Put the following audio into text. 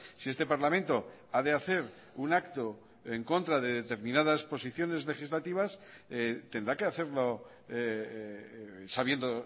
si este parlamento ha de hacer un acto en contra de determinadas posiciones legislativas tendrá que hacerlo sabiendo